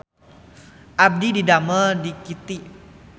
Abdi didamel di Kiky